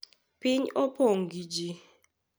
Piny opong' gi ji